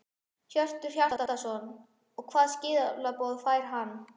Hjörtur Hjartarson: Og hvað skilaboð fær hann?